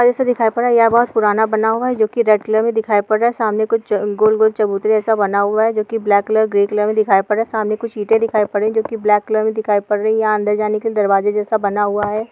जैसा दिखाई पड़ रहा हैं यहां बहुत पुराना बना हुआ है जो की रेड़ कलर मे दिखाई पर रहा हैं सामने कुछ गोल गोल चबूतरा जैसा बना हुआ हैं जो की ब्लैक कलर अ ग्रे कलर मे दिखाई पड़ रहा हैं सामने कुछ इटे दिखाई पड़ रही हैं जो की ब्लैक कलर मे दिखाई पर रहा हैं यहां अंदर जाने के लिए दरवाजा जैसा बना हुआ हैं।